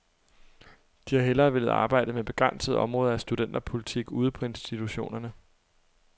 De har hellere villet arbejde med begrænsede områder af studenterpolitik ude på institutionerne.